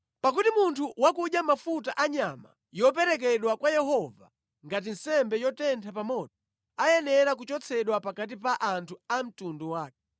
Pakuti munthu wakudya mafuta a nyama yoperekedwa kwa Yehova ngati nsembe yotentha pa moto, ayenera kuchotsedwa pakati pa anthu a mtundu wake.